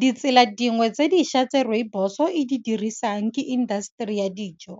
Ditsela dingwe tse dišwa tse rooibos o e di dirisang ke indaseteri ya dijo.